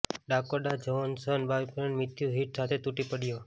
Dakota Johnson boyfriend Matthew Hitt સાથે તૂટી પડ્યો